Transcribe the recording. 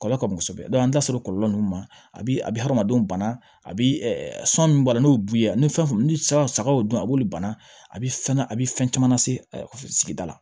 Kɔlɔlɔ ka bon kosɛbɛ an bɛ taa se kɔlɔlɔ nunnu ma a bi a bi hadamadenw bana a bi san min b'a la n'o ye buya ni fɛn mun ni san sagaw dun a b'olu bana a be fɛn a bi fɛn caman lase sigida la